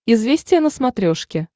известия на смотрешке